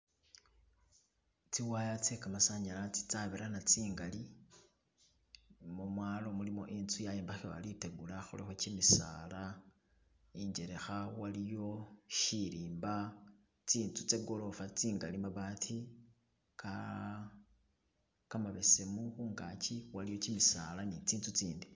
Tsi wire tse gamasanyalaze tsiliwo tsabirana tsingali momwalo mulimo intsu yayimbakhiwa litegula kulikho gimisaala injelekha waliyo shirimba tsinzu tse gorofa tsingali, mabaati gamabesemu khungagi waliyo gimisaala ni tsinzu tsindi.